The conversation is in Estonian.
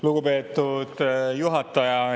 Lugupeetud juhataja!